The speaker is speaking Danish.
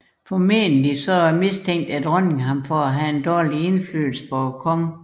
Formentlig mistænkte dronningen ham for at have en dårlig indflydelse på kongen